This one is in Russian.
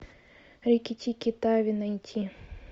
рикки тикки тави найти